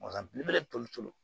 Wa belebele